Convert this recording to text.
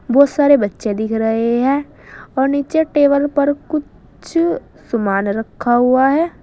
बहोत सारे बच्चे दिख रहे हैं और नीचे टेबल पर कुछ समान रखा हुआ है।